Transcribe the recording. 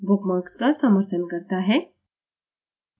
bookmarks का समर्थन करता है